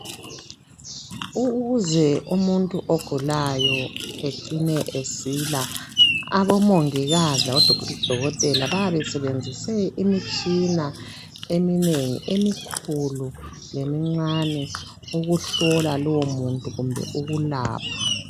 Ukuze umuntu ogulayo ecine esila, abomongikazi labodokotela bayabe besebenzise imitshina eminengi emikhulu lemincane ukuhlola lowu muntu kumbe ukulapha.